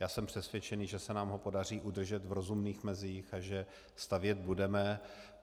Já jsem přesvědčen, že se nám ho podaří udržet v rozumných mezích a že stavět budeme.